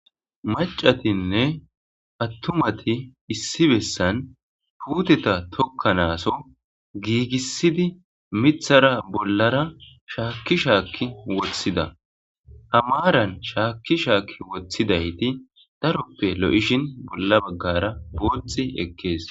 Macatinne attumati issi bessan puuteta tokkanaaso giigissidi mithara bollara shaakki shaakki wothida aa maaran shaakki shaakki wothidayti daroppe loyishin bolla baggara booxi ekkees.